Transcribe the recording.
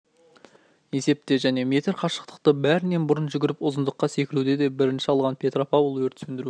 есепте және метр қашықтықты бәрінен бұрын жүгіріп ұзындыққа секіруде де бірінші алған петропавл өрт сөндіру